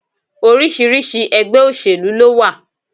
Oríṣiríṣi ẹgbẹ́ òsèlú lówà.